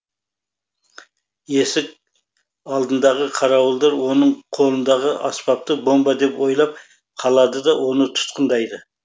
есік алдындағы қарауылдар оның қолындағы аспапты бомба деп ойлап қалады да оны тұтқындайды